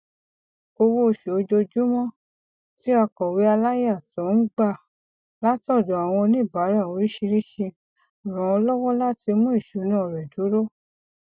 owóoṣù ojoojúmọ tí akọwé aláyàtọ ń gba látọdọ àwọn oníbàárà oríṣìíríṣìí ràn án lọwọ láti mú ìṣúná rẹ dúró